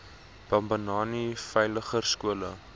bambanani veiliger skole